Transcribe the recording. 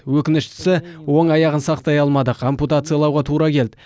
өкініштісі оң аяғын сақтай алмадық ампутациялауға тура келді